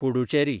Puducherry